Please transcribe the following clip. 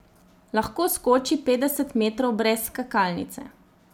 Lahko skoči petdeset metrov brez skakalnice.